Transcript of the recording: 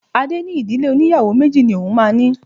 Adé ní Ìdílé óníyàwó méjì ni òun máa ní.